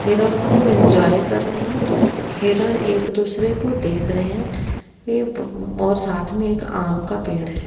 हिरण खूब इंजॉय कर रहे है हिरण एक दूसरे को देख रहे है ए ब बो साथ मे एक आम का पेड़ है।